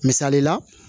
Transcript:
Misali la